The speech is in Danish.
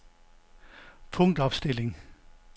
punktopstilling